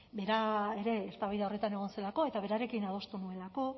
bera ere eztabaida horretan egon zelako eta berarekin adostu nuelako